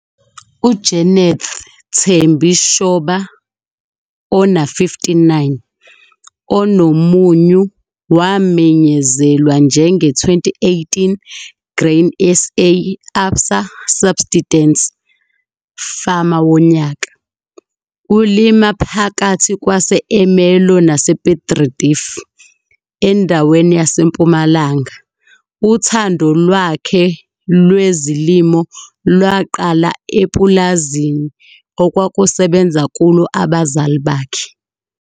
UJeneth Thembi Shoba, 59, onomunyu wamenyezelwa njenge-2018 Grain SA - Absa Subsitence Farmer woNyaka. Ulima phakathi kwase-Ermelo nase-Piet Retief endaweni yaseMpumalanga. Uthando lwakhe lwezilimo lwaqala epulazini okwakusebenza kulo abazali bakhe.